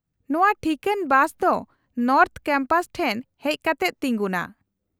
-ᱱᱚᱶᱟ ᱴᱷᱤᱠᱟᱹᱱ ᱵᱟᱥ ᱫᱚ ᱱᱚᱨᱛᱷᱚ ᱠᱮᱢᱯᱟᱥ ᱴᱷᱮᱱ ᱦᱮᱡ ᱠᱟᱛᱮᱫ ᱛᱤᱜᱩᱱᱟ ᱾